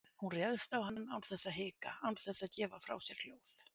Hún réðst á hann án þess að hika, án þess að gefa frá sér hljóð.